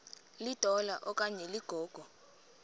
litola okanye ligogo